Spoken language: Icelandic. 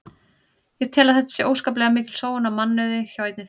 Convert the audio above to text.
Ég tel að þetta sé óskaplega mikil sóun á mannauði hjá einni þjóð.